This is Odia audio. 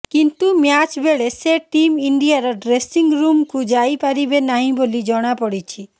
କିନ୍ତୁ ମ୍ୟାଚ୍ ବେଳେ ସେ ଟିମ୍ ଇଣ୍ଡିଆର ଡ୍ରେସିଂ ରୁମ୍କୁ ଯାଇ ପାରିବେ ନାହିଁ ବୋଲି ଜଣାପଡ଼ିଛି